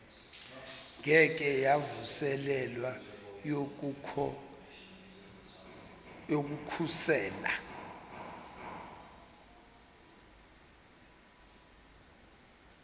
engeke yavuselelwa yokukhosela